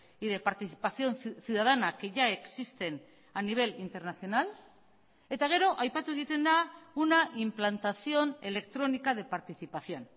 y de participación ciudadana que ya existen a nivel internacional eta gero aipatu egiten da una implantación electrónica de participación